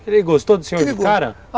Ele gostou do senhor de cara?